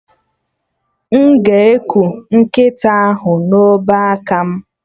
M ga-eku nkịta ahụ na obeaka m?